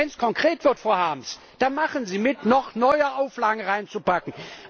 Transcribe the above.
Und wenn es konkret wird, Frau Harms, da machen Sie mit, noch neue Auflagen reinzupacken.